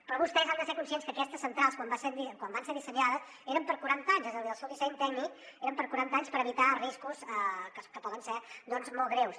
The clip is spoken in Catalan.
però vostès han de ser conscients que aquestes centrals quan van ser dissenyades eren per a quaranta anys és a dir el seu disseny tècnic era per a quaranta anys per evitar riscos que poden ser molt greus